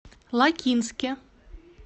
лакинске